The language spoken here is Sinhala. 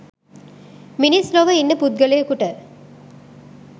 මිනිස් ලොව ඉන්න පුද්ගලයෙකුට